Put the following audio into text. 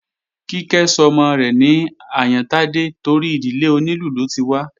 Kíkẹ́ sọmọ rẹ̀ ní Àyántádé torí ìdílé onílù ló ti wá